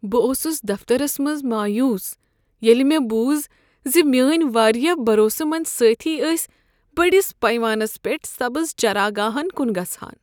بہٕ اوسس دفترس منٛز مایوس ییٚلہ مےٚ بوز ز میٲنۍ واریاہ بروسہٕ مند سٲتھی ٲسۍ بٔڑس پیمانس پیٹھ سبز چراگاہن کن گژھان۔